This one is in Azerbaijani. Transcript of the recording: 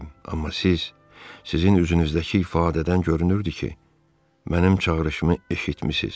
Amma siz, sizin üzünüzdəki ifadədən görünürdü ki, mənim çağırışımı eşitmisiz.